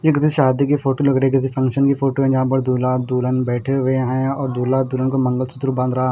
ये किसी शादी की फोटो लग रही किसी फंक्शन की फोटो है जहां पर दूल्हा दुल्हन बैठे हुए हैं और दूल्हा दुल्हन को मंगलसूत्र बांध रहा--